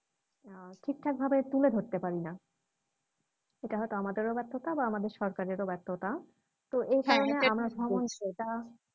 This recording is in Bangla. আহ ঠিকঠাকভাবে তুলে ধরতে পারেনা সেটা হয়তো আমাদেরও ব্যর্থতা বা আমাদের সরকারেরও ব্যর্থতা তো এই ভ্রমণ সেটা